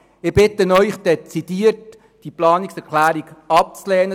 Ich bitte Sie dezidiert, die Planungserklärung abzulehnen.